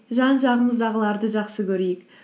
жан жағымыздағыларды жақсы көрейік